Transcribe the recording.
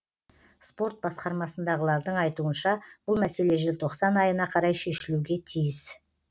спорт басқармасындағылардың айтуынша бұл мәселе желтоқсан айына қарай шешілуге тиіс